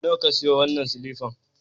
Nawa ka sayo wannan silifan?